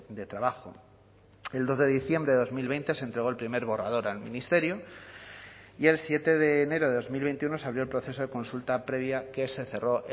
de trabajo el dos de diciembre de dos mil veinte se entregó el primer borrador al ministerio y el siete de enero de dos mil veintiuno se abrió el proceso de consulta previa que se cerró